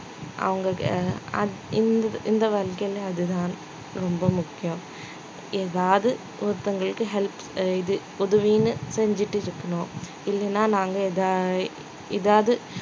அவங்க அ~ அந்~ இந்த இந்த வாழ்க்கையிலே அதுதான் ரொம்ப முக்கியம் எதாவது ஒருத்தவங்களுக்கு help இது உதவின்னு செஞ்சுட்டு இருக்கணும் இல்லைன்னா நாங்க ஏதா~ எதாவது